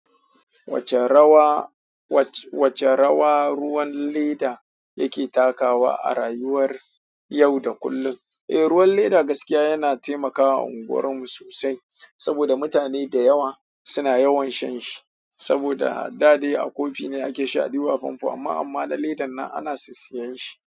Wacce rawa, wacce rawa ruwan leda yake takawa a rayuwar yau da kullum? Eh, ruwan leda gaskiya yana taimakawa unguwar mu sosai saboda mutane da yawa suna yawan shan shi. Saboda daɗe a kofi ne ake sha a ɗebo a fanfo amma, amma na ledar nan ana sassayan shi.